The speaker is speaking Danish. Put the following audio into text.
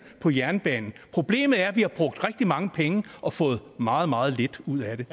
på jernbanen problemet er at vi har brugt rigtig mange penge og fået meget meget lidt ud af